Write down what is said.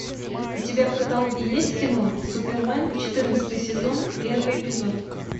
у тебя в каталоге есть кино супермен четырнадцатый сезон первый эпизод